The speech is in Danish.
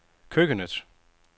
køkkenet